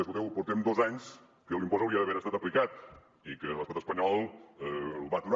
escolteu portem dos anys que l’impost hauria d’haver estat aplicat i que l’estat espanyol va atura